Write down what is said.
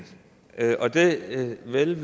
selv